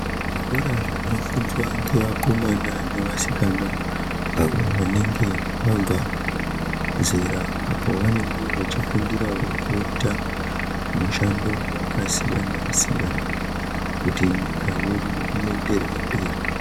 Zvikora zvinofundwa nevakomana nevasikana avo vanenge vabva zera apo pavanenge vachifundirawo kuita mishando yakasiyana siyana kuti nyika yedu ienderere mberi.